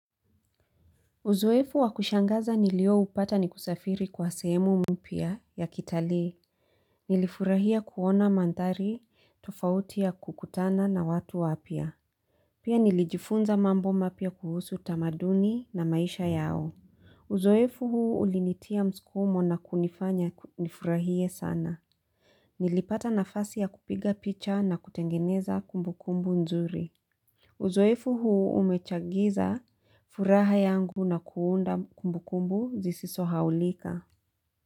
Uzoefu wakushangaza nilio upata ni kusafiri kwa sehemu mpya ya kitalii Nilifurahia kuona maandari tofauti ya kukutana na watu wapya Pia nilijifunza mambo mapya kuhusu tamaduni na maisha yao Uzoefu huu ulinitia mskumo na kunifanya nifurahie sana Nilipata nafasi ya kupiga picha na kutengeneza kumbukumbu nzuri Uzoefu huu umechagiza furaha yangu na kuunda kumbukumbu zisiso sahaulika.